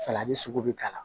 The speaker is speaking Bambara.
Salati sugu bɛ k'a la